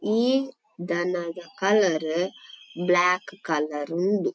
ಈ ದನದ colour black colour ಉಂಡು.